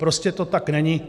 Prostě to tak není.